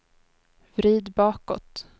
vrid bakåt